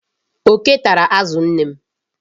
Oke tara azụ nne m.